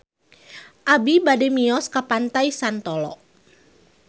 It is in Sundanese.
Abi bade mios ka Pantai Santolo